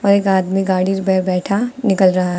एक आदमी गाड़ी पर बैठा निकल रहा है।